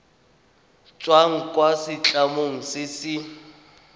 tswang kwa setlamong se se